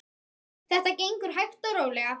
Þetta gengur hægt og rólega.